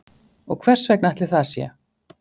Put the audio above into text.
Og hversvegna ætli það sé